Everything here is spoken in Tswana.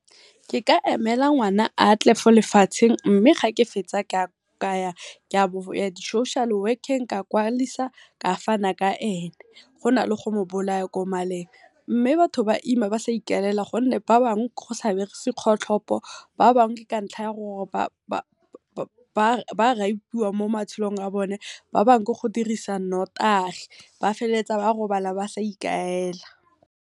Ke ka emela ngwana a tle fo lefatsheng mme ga ke fetsa ka ya di social work-eng ka kwadisa ka fana ka ene gona le go mo bolaya ko maleng, mme batho ba ima ba sa ikaelela gonne ba bangwe go sa berekisi kgotlhopho, ba bangwe ke ka ntlha ya gore ba mo matshelong a bone, ba bangwe ke go dirisa notagi ba feleletsa ba robala ba sa ikaela.